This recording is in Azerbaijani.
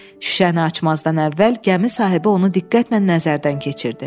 Şüşəni açmazdan əvvəl gəmi sahibi onu diqqətlə nəzərdən keçirdi.